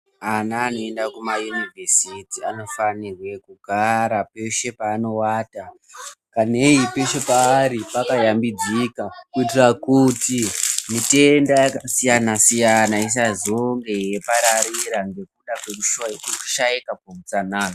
Ana anoenda kuma yunivhesiti anofarirwe kugara peshe paanoata kanei peshe paari pakashambidzika kuitira kuti mitenda yakasiyana siyana isazonge yeipararira ngekuda kwekushaika kweutsanana.